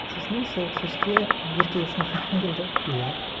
сосын сол кешке ерке есмахан келді иә